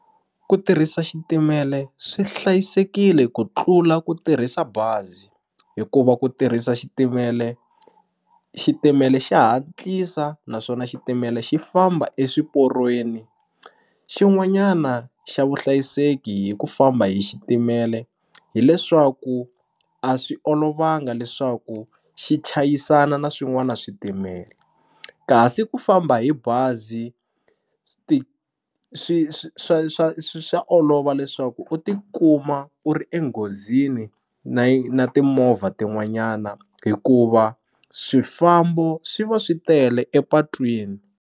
Ku tirhisa xitimele swi hlayisekile ku tlula ku tirhisa bazi hikuva ku tirhisa xitimele xitimele xa hatlisa naswona xitimele xi famba eswiporweni xin'wanyana xa vuhlayiseki hi ku famba hi xitimele hileswaku a swi olovanga leswaku xi chayisana na swin'wana switimela kasi ku famba hi bazi swi swi swa swa swa olova leswaku u ti kuma u ri enghozini na timovha tin'wanyana hikuva swifambo swi va swi tele epatwini.